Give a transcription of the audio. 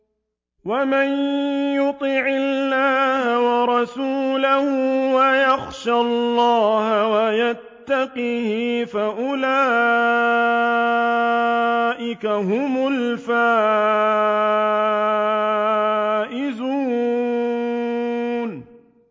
وَمَن يُطِعِ اللَّهَ وَرَسُولَهُ وَيَخْشَ اللَّهَ وَيَتَّقْهِ فَأُولَٰئِكَ هُمُ الْفَائِزُونَ